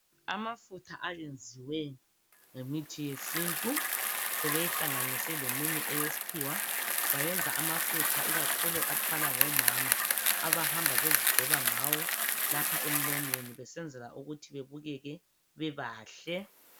Amafutha ayenziwe ngemithi yesintu sebeyihlanganise leminye eyeskhiwa bayenza amafutha ikakhulu athwalwa ngomama abahamba bezigcoba ngawo lapha emlonyeni besenzela ukuthi babukeke bebahle.